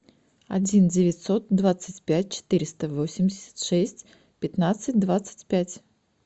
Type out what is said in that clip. один девятьсот двадцать пять четыреста восемьдесят шесть пятнадцать двадцать пять